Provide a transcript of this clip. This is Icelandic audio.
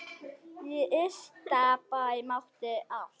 Í Ystabæ mátti allt.